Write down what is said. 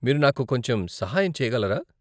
మీరు నాకు కొంచెం సహాయం చెయ్యగలరా?